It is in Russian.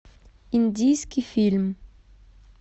индийский фильм